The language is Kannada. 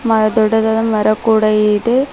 ಆ ದೊಡ್ಡದಾದ ಮರ ಕೂಡ ಇದೆ.